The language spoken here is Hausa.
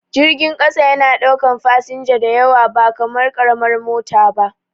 Jirgin ƙasa yana ɗaukan fasinja diyawa ba kamar karamar mota ba